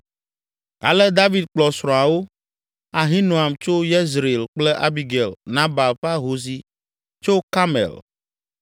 Ale David kplɔ srɔ̃awo, Ahinoam tso Yezreel kple Abigail, Nabal ƒe ahosi tso Karmel,